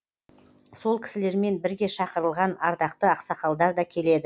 сол кісілермен бірге шақырылған ардақты ақсақалдар да келеді